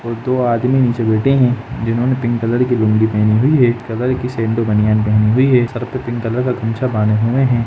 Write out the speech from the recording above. और दो आदमी नीचे बैठे है जिन्होंने पिंक कलर की पहनी है कलर की संडो बनियान पहनी हुई है सर पर पिंक कलर का गमछा बांधे हुए हैं।